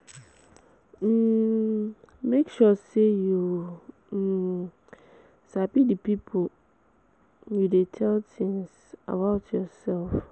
um Make sure say you um sabi di pipo you de um tell things about yourself